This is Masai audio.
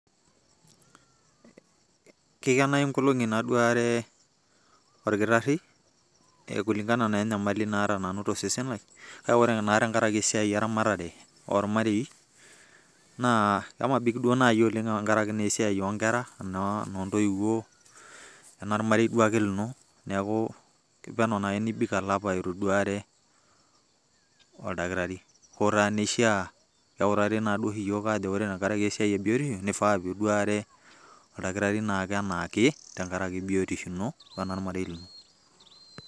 Kikenayu nkolong'i naduare orkitarri,e kulingana na enyamali naata nanu tosesen lai, kake ore naa tenkaraki esiai eramatare ormareii, naa kemabik duo nai oleng' tenkaraki naa esiai onkera, eno ntoiwuo, enomarei duake lino. Neeku kepono nai nibik olapa ituduare oldakitari. Ho taa neishaa, eutari naduoshi yiok ajo ore ake esiai ebiotisho, nifaa pi duare oldakitari na kenaake tenkaraki biotisho ino wenormarei lino.